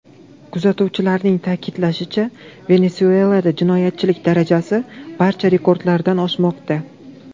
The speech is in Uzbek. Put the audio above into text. Kuzatuvchilarning ta’kidlashicha, Venesuelada jinoyatchilik darajasi barcha rekordlardan oshmoqda.